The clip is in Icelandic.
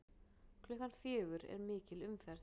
Klukkan fjögur er mikil umferð.